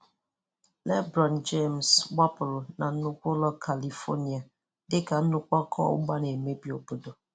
Lebron James gbapụrụ na gbapụrụ na nnukwu ụlọ California dị ka nnukwu ọkụ ọgbụgba na-emebi obodo.